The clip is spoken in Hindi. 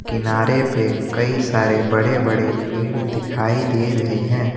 किनारे पे कई सारे बड़े बड़े पेड़ दिखाई दे रहे हैं।